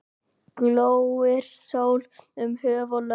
Glóir sól um höf og lönd.